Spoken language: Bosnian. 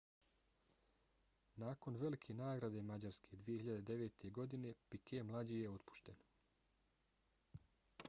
nakon velike nagrade mađarske 2009. godine piquet mlađi je otpušten